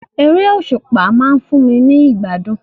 Eré òsùpá ma n fun mi ni ìgbádùn